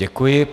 Děkuji.